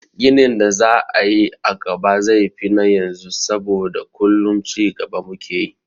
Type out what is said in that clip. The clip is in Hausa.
Ginin da za a yi a gaba zai fi na yanzu saboda kullum cigaba mu ke yi.